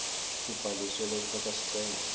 kubhalisa lofaka sicelo